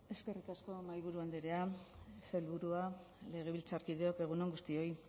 eskerrik asko mahaiburu andrea sailburuak legebiltzarkideok egun on guztioi